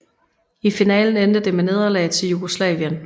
I finalen endte det med nederlag til Jugoslavien